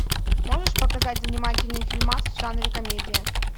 можешь показать занимательный фильмас в жанре комедия